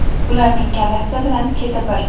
Ularning kallasi bilan keti bir.